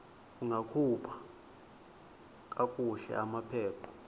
ungakhupha kakuhle amaphepha